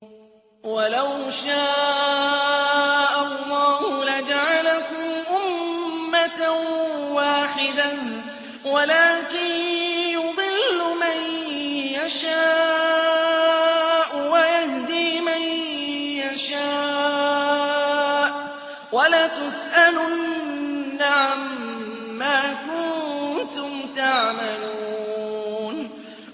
وَلَوْ شَاءَ اللَّهُ لَجَعَلَكُمْ أُمَّةً وَاحِدَةً وَلَٰكِن يُضِلُّ مَن يَشَاءُ وَيَهْدِي مَن يَشَاءُ ۚ وَلَتُسْأَلُنَّ عَمَّا كُنتُمْ تَعْمَلُونَ